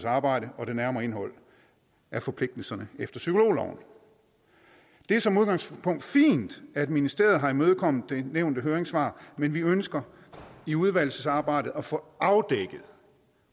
arbejde og det nærmere indhold af forpligtelserne efter psykologloven det er som udgangspunkt fint at ministeriet har imødekommet det nævnte høringssvar men vi ønsker i udvalgsarbejdet at få afdækket